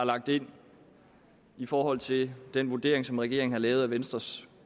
lagt ind i forhold til den vurdering som regeringen har lavet af venstres